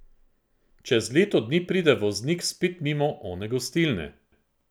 Čez leto dni pride voznik spet mimo one gostilne.